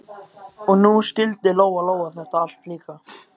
Og nú skildi Lóa-Lóa þetta allt líka.